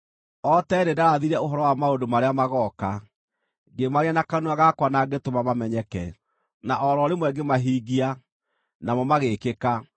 O tene nĩndarathire ũhoro wa maũndũ marĩa magooka, ngĩmaaria na kanua gakwa na ngĩtũma mamenyeke; na o ro rĩmwe ngĩmahingia, namo magĩĩkĩka.